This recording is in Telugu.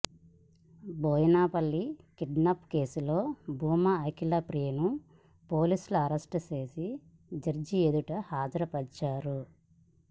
బోయిన్పల్లి కిడ్నాప్ కేసులో భూమా అఖిలప్రియను పోలీసులు అరెస్ట్ చేసి జడ్జి ఎదుట హాజరుపర్చారు